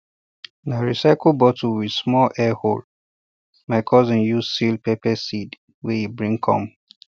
na recycled bottle with small air hole my cousin use seal pepper seeds wey e bring come